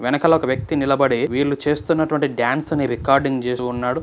వెనకాల ఒక వ్యక్తి నిలబడి వీళ్లు చేస్తున్నటువంటి డ్యాన్స్ ని రికార్డింగ్ చేస్తూ ఉన్నాడు.